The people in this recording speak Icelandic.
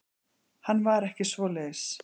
Hann var ekki svoleiðis.